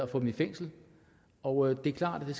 få dem i fængsel og det er klart at det